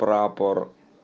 прапор